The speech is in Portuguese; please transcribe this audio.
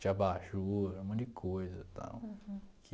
de abajur, um monte de coisa tal que